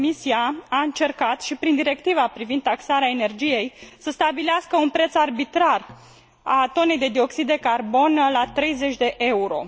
Comisia a încercat și prin directiva privind taxarea energiei să stabilească un preț arbitrar al tonei de dioxid de carbon la 30 de euro.